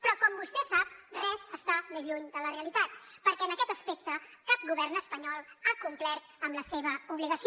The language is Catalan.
però com vostè sap res està més lluny de la realitat perquè en aquest aspecte cap govern espanyol ha complert amb la seva obligació